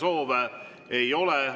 Kõnesoove ei ole.